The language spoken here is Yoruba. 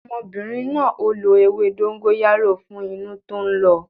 Ọmọbìnrin na ó lo ewé dóngóyárò fún inú tó ń lọ